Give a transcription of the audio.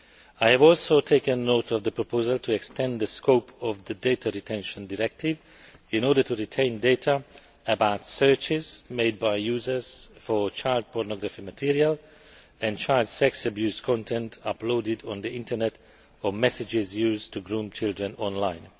I have also taken note of the proposal to extend the scope of the Data Retention Directive in order to retain data about searches made by users for child pornography material and child sex abuse content uploaded on the Internet or messages used to groom children online.